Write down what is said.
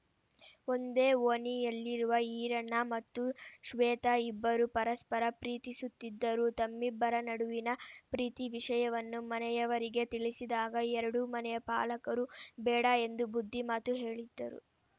ಒಂದೇ ಓಣಿಯಲ್ಲಿರುವ ಈರಣ್ಣ ಮತ್ತು ಶ್ವೇತಾ ಇಬ್ಬರೂ ಪರಸ್ಪರ ಪ್ರೀತಿಸುತ್ತಿದ್ದರು ತಮ್ಮಿಬ್ಬರ ನಡುವಿನ ಪ್ರೀತಿ ವಿಷಯವನ್ನು ಮನೆಯವರಿಗೆ ತಿಳಿಸಿದಾಗ ಎರಡೂ ಮನೆಯ ಪಾಲಕರು ಬೇಡ ಎಂದು ಬುದ್ಧಿ ಮಾತು ಹೇಳಿದ್ದರು